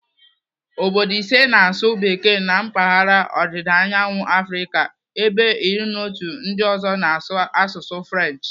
Obodo ise na-asụ bekee na mpaghara ọdịdaanyawu Afrịka ebe iri na otu ndị ọzọ na-asụ asụsụ French.